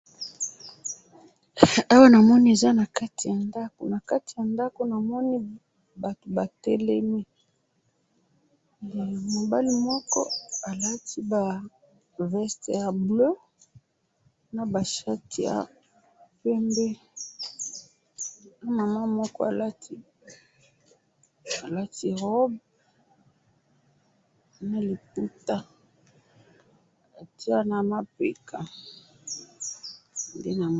awa namoni eza nakati ya ndako nakati ya ndako namoni batou batelemi, he mobali moko alati ba veste ya bleu ,naba shati ya pembe, na mama moko alati, alati robe ,na lipouta atiye na mapeka nde namoni